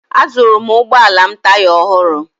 Azụụrụ m ụgbọala m taya ọhụrụ.